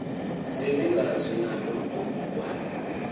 zeningezi nalo ubugwal